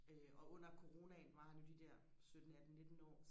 øh og under coronaen var han jo de der sytten atten nitten år